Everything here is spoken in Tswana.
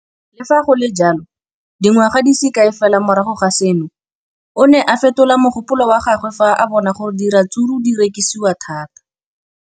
Le fa go le jalo, dingwaga di se kae fela morago ga seno, o ne a fetola mogopolo wa gagwe fa a bona gore diratsuru di rekisiwa thata.